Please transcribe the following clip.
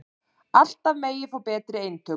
Alltaf megi fá betri eintök